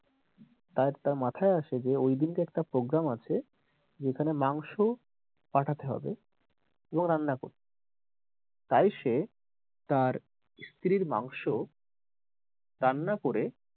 তাই তার মাথায় আসে যে ওই দিন কে একটা program আছে যেখানে মাংস পাঠাতে হবে এবং রান্না করে তাই সে তার স্ত্রীর মাংস রান্না করে,